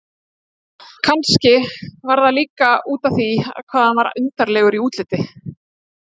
Kannski var það líka útaf því hvað hann var undarlegur í útliti.